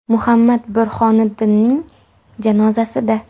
Muhammad Burhoniddinning janozasida.